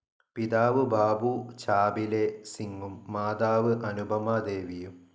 പിതാവ് ബാബു ചാബിലെ സിംഗും മോത്തർ അനുപമ ദേവിയും.